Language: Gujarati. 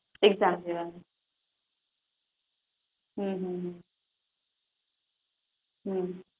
એકઝામ પહેલા હમ